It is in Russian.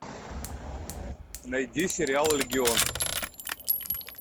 найди сериал легион